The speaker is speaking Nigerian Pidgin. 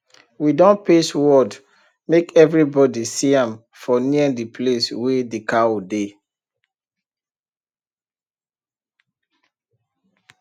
we don paste word make every body see am for near the place wey the cow dey